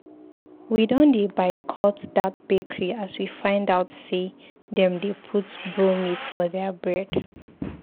We don boycott dat bakery as we find out sey dem dey put bromate for their bread.